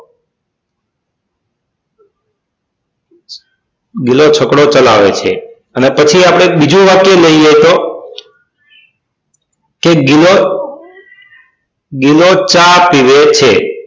ગિલો છકડો ચલાવે છે અને પછી આપડે એક બીજું વાક્ય લઈએ તો કે ગિલો ગિલો ચા પીવે છે